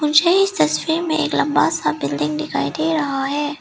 मुझे इस तस्वीर में एक लंबा सा बिल्डिंग दिखाई दे रहा है।